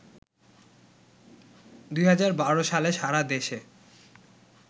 ২০১২ সালে সারা দেশে